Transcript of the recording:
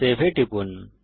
save এ টিপুন